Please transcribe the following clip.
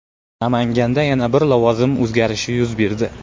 Namanganda yana bir lavozim o‘zgarishi yuz berdi.